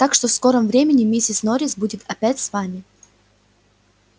так что в скором времени миссис норрис будет опять с вами